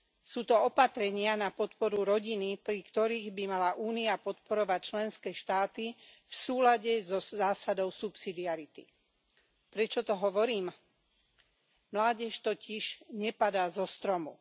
Sú to opatrenia na podporu rodiny, pri ktorých by mala Únia podporovať členské štáty v súlade so zásadou subsidiarity. Prečo to hovorím? Mládež totiž nepadá zo stromu.